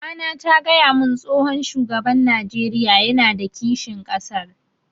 Mamana ta gaya mun tsohon shugaban Najeriya yana da kishin ƙasar